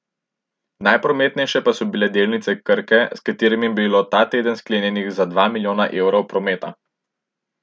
Najprometnejše pa so bile delnice Krke, s katerimi je bilo ta teden sklenjenih za dva milijona evrov prometa.